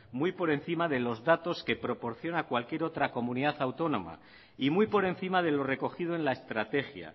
muy por encima de los datos que proporciona cualquier otra comunidad autónoma y muy por encima de lo recogido en la estratégia